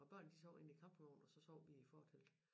Og børn de sov inde i campingvogn og så sov vi i fortelt